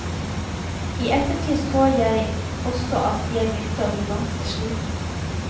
I ettertid så jeg også at jeg begynte å bli ganske sliten.